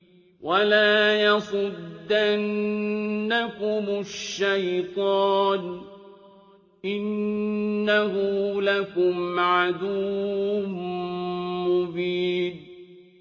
وَلَا يَصُدَّنَّكُمُ الشَّيْطَانُ ۖ إِنَّهُ لَكُمْ عَدُوٌّ مُّبِينٌ